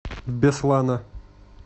беслана